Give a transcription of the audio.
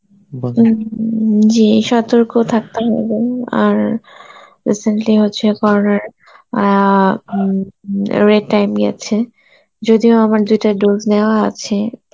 জী সতর্ক থাকতে হবে উম আর recently হচ্চে অ্যাঁ উম যদিও আমার দুইটা dose নেওয়া আছে